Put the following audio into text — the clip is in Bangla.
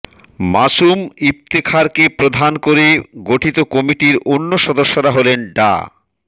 মাসুম ইফতেখারকে প্রধান করে গঠিত কমিটির অন্য সদস্যরা হলেন ডা